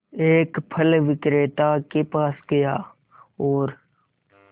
एक फल विक्रेता के पास गया और